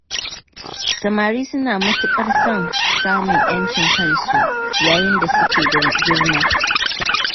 Samari suna matuƙar son samun ’yancin kansu yayin da suke girma.